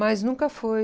Mas nunca foi...